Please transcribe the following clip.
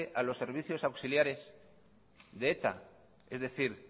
a los servicios auxiliares de eta es decir